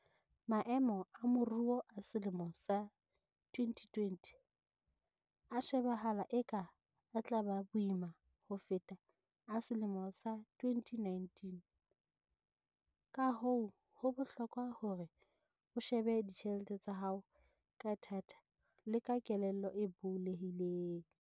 Maemo a moruo a selemo sa 2020 a shebahala eka a tla ba boima ho feta a selemo sa 2019, kahoo ho bohlokwa hore o shebe ditjhelete tsa hao ka thata le ka kelello e bulehileng.